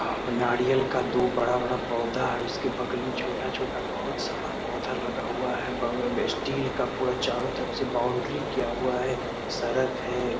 औ नारियल का दो बड़ा-बड़ा पौधा है। उसके बगल में छोटा-छोटा बहुत सारा पौधा लगा हुआ है। बगल में स्टील का पूरा चारों तरफ से बाउंड्री किया हुआ है। सड़क है।